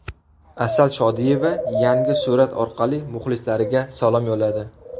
Asal Shodiyeva yangi surat orqali muxlislariga salom yo‘lladi.